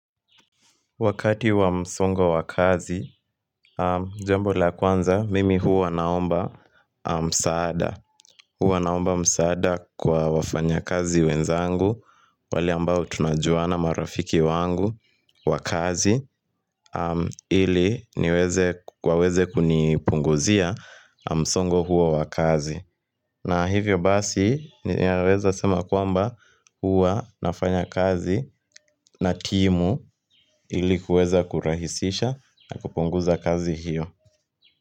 Wakati wa msongo wa kazi, jambo la kwanza, mimi huwa naomba msaada. Huwa naomba msaada kwa wafanyakazi wenzangu, wale ambao tunajuana marafiki wangu wakazi, ili niweze waweze kunipunguzia msongo huo wa kazi. Na hivyo basi ninaweza sema kwamba huwa nafanya kazi na timu ili kuweza kurahisisha na kupunguza kazi hiyo.